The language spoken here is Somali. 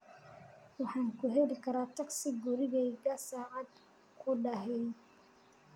Waxaan ku heli karaa taksi gurigayga saacad gudaheed